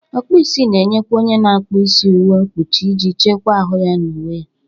Ọkpụisi na eyinyekwa onye ọ na-akpụ isi uwe mpochi iji chekwa ahụ na uwe ya.